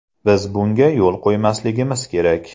Biz bunga yo‘l qo‘ymasligimiz kerak!